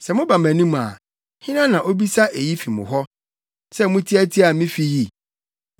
Sɛ moba mʼanim a hena na obisa eyi fi mo hɔ, sɛ mutiatia me fi yi?